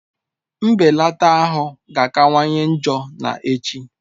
Mbelata ahụ ga-akawanye njọ na echi